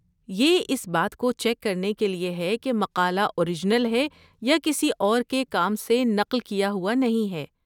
یہ اس بات کو چیک کرنے کے لیے ہے کہ مقالہ اورجنل ہے اور کسی اور کے کام سے نقل کیا ہوا نہیں ہے۔